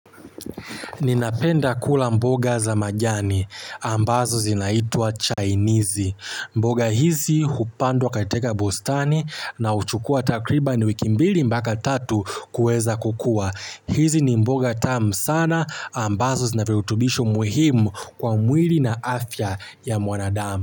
Ninapenda kula mboga za majani. Ambazo zinaitua chainizi. Mboga hizi hupandwa katika bustani na huchukua takriban wiki mbili mpaka tatu kueza kukua. Hizi ni mboga tamu sana. Ambazo zina virutubisho muhimu kwa mwili na afya ya mwanadamu.